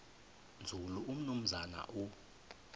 nzulu umnumzana u